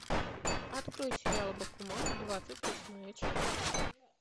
открой сериал бакуман двадцать восьмая часть